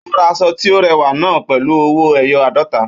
Ó ra aṣọ tí ó rẹwà náà pẹ̀lú ọwọ́ ẹyọ àádọ́ta